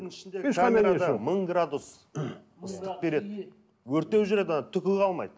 мың градус ыстық береді өртеп жібереді түгі қалмайды